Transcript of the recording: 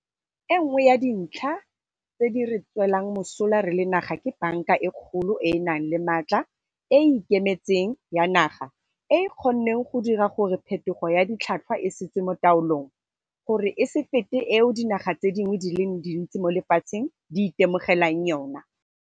E nngwe ya dintlha tse di re tswelang mosola re le naga ke Banka e Kgolo e e e nang le maatla e e ikemetseng ya naga e e kgonneng go dira gore phetogo ya ditlhotlhwa e se tswe mo taolong, gore e se fete eo dinaga tse dingwe di le dintsi mo lefatsheng di itemogelang yona.